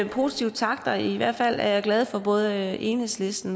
positive takter og i hvert fald er jeg glad for at både enhedslisten